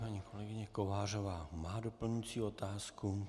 Paní kolegyně Kovářová má doplňující otázku.